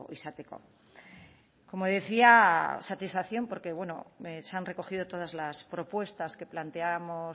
izateko como decía satisfacción porque bueno se han recogido todas las propuestas que planteábamos